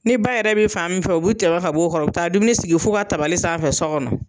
Ni baa yɛrɛ bi fan min fɛ u bi tɛmɛ ka b'o kɔrɔ u bi taa dumuni sigi f'u ka tabali san fɛ sɔ gɔnɔ